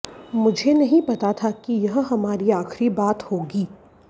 मुझे नहीं पता था कि यह हमारी आखिरी बात होगी